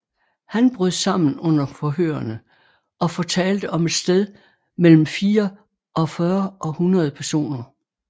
Han brød sammen under forhørene og fortalte om et sted mellem 44 og 100 personer